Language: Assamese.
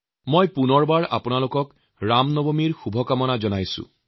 মই পুনৰবাৰ আপোনালোক সকলোকে ৰাম নৱমীৰ শুভকামনা জনাইছো